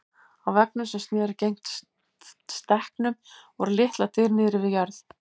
Á veggnum sem sneri gegnt stekknum voru litlar dyr niðri við jörð.